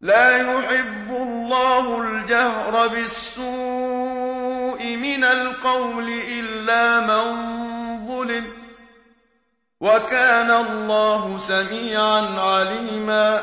لَّا يُحِبُّ اللَّهُ الْجَهْرَ بِالسُّوءِ مِنَ الْقَوْلِ إِلَّا مَن ظُلِمَ ۚ وَكَانَ اللَّهُ سَمِيعًا عَلِيمًا